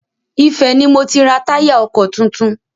Ifẹ̀ ni mo ti ra táyà ọkọ̀ tuntun.